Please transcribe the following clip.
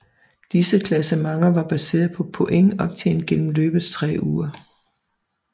Disse klassementer var baseret på point optjent gennem løbets tre uger